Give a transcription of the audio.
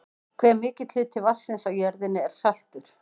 hve mikill hluti vatnsins á jörðinni er saltur